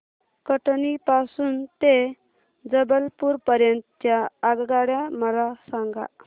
कटनी पासून ते जबलपूर पर्यंत च्या आगगाड्या मला सांगा